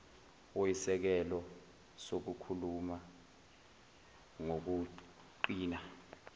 oyisisekelo sokukhula ngokuqina